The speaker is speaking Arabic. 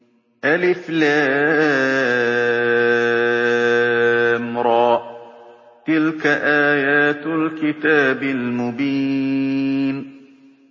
الر ۚ تِلْكَ آيَاتُ الْكِتَابِ الْمُبِينِ